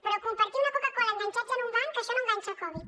però compartir una coca cola enganxats en un banc això no enganxa el covid